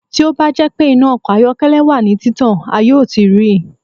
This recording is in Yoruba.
Ti o ba jẹ pe ina ọkọ ayọkẹlẹ wa ni titan a yoo ti rii